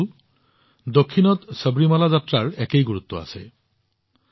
বন্ধুসকল দক্ষিণত সবৰীমালা যাত্ৰাৰ একেই গুৰুত্ব আছে